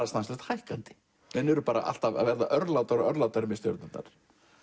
stanslaust hækkandi menn eru bara alltaf að verða örlátari og örlátari með stjörnurnar